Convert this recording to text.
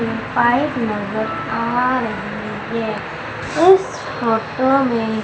pipe नजर आ रही है इस फोटो में--